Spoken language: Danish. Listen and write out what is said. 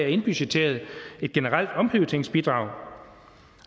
indbudgetteret et generelt omprioriteringsbidrag